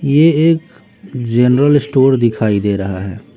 ये एक general store दिखाई दे रहा है।